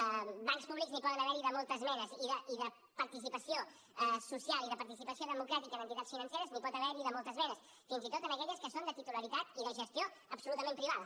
de bancs públics n’hi poden haver de moltes menes i de participació social i de participació democràtica en entitats financeres n’hi pot haver de moltes menes fins i tot en aquelles que són de titularitat i de gestió absolutament privada